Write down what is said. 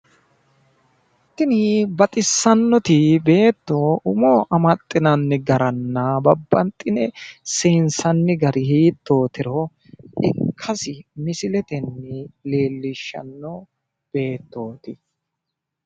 Tini baxissannoti beetto umo amaxxinanni garanna babbaxxino seensanni gari hittootiro ikkasi misiletenni leellishshanno beettooti.